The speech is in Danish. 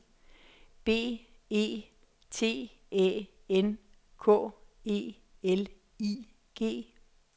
B E T Æ N K E L I G